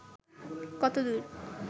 কত দূর